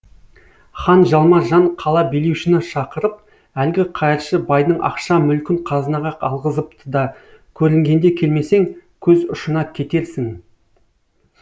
хан жалма жан қала билеушіні шақырып әлгі қайыршы байдың ақша мүлкін қазынаға алғызыпты да көрінгенде келмесең көз ұшына кетерсің